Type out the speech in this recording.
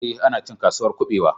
Ee, ana cin Kasuwar kuɓewa